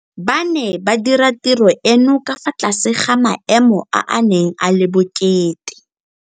Ba ne ba dira tiro eno ka fa tlase ga maemo a a neng a le bokete.